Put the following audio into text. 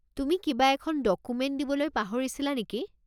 তুমি কিবা এখন ডকুমেণ্ট দিবলৈ পাহৰিছিলা নেকি?